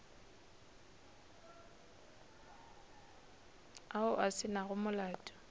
ao a se nago molato